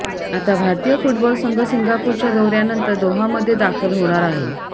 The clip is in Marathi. आता भारतीय फुटबॉल संघ सिंगापूरच्या दौऱयानंतर दोहामध्ये दाखल होणार आहे